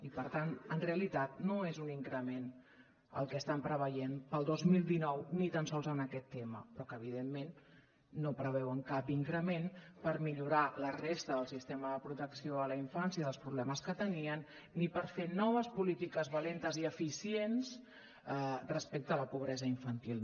i per tant en realitat no és un increment el que estan preveient per al dos mil dinou ni tan sols en aquest tema però que evidentment no preveuen cap increment per millorar la resta del sistema de protecció a la infància dels problemes que tenien ni per fer noves polítiques valentes i eficients respecte a la pobresa infantil